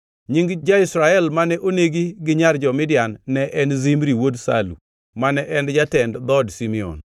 Nying ja-Israel mane onegi gi nyar jo-Midian ne en Zimri wuod Salu, mane en jatend dhood Simeon.